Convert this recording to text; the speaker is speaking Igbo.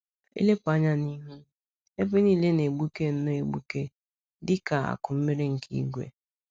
I lepụ anya n’ihu, ebe niile na-egbuke nnọọ egbuke dika akụ mmiri nke ìgwè.